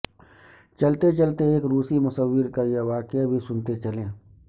چلتے چلتے ایک روسی مصور کا یہ واقع بھی سنتے چلیں